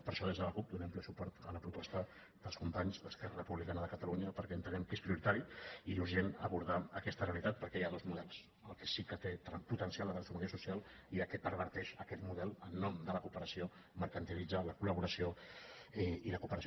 per ai·xò des de la cup donem ple suport a la proposta dels companys d’esquerra republicana de catalunya per·què entenem que és prioritari i urgent abordar aques·ta realitat perquè hi ha dos models el que sí que té potencial de transformació social i el que perverteix aquest model en nom de la cooperació mercantilitza la col·laboració i la cooperació